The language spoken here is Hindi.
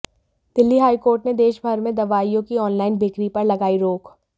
दिल्ली हाई कोर्ट ने देशभर में दवाइयों की ऑनलाइन बिक्री पर लगाई रोक